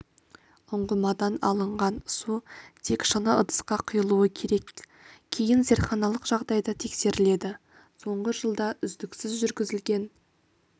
ұңғымадан алынған су тек шыны ыдысқа құйылуы керек кейін зертханалық жағдайда тексеріледі соңғы жылда үздіксіз жүргізілген